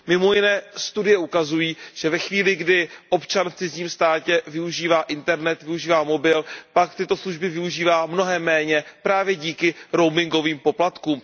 Mimo jiné studie ukazují, že ve chvíli, kdy občan v cizím státě využívá internet, využívá mobil, pak tyto služby využívá mnohem méně právě díky roamingovým poplatkům.